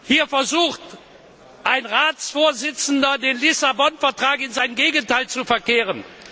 Hier versucht ein Ratsvorsitzender, den Lissabon Vertrag in sein Gegenteil zu verkehren.